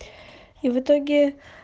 и в итоге